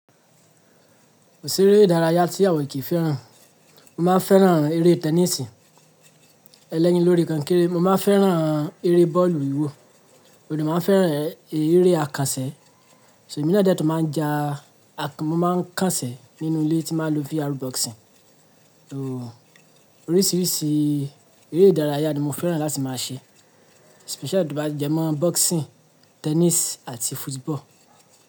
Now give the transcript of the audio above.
Ko ṣèré ìdárayá tí àwa o kìí fẹ́ràn. Mo máa ń fẹ́ràn eré tẹníìsì, ẹlẹ́yin lórí kọnkéré. Mo má ń fẹ́ràn eré bọ́ọ̀lù ìwọ. Mo dẹ má ń fẹ́ràn eré àkànṣẹ̀. So èmi náà dẹ́ tún máa ń ja àkàn, mo má ń kànṣẹ̀ nínú ilé tí máa ń lọ VR boxing. Oo, oríṣiríṣi eré ìdárayá ni mo fẹ́ràn láti máa ṣe. Especially to ba bá jẹ́ mọ́ boxing, tennis àti football.